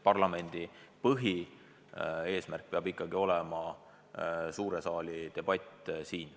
Parlamendi põhieesmärk peab ikkagi olema suure saali debatt.